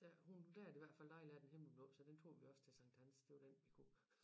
Der hun der er det i hvert fald dejlig er den himmelblå så den tog vi også til Sankt Hans det var den vi kunne